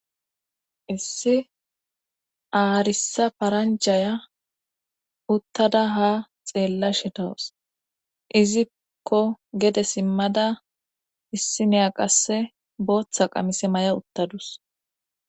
issi aarisa paranjaya uttada ha xeella shitawus izikko gede simmada issi neya qasse booththa qamise may7a uttadus